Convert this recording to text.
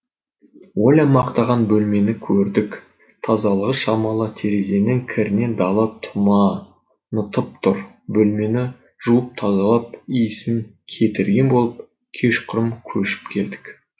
оля мақтаған бөлмені көрдік тазалығы шамалы терезенің кірінен дала тұманытып тұр бөлмені жуып тазалап иісін кетірген болып кешқұрым көшіп келдік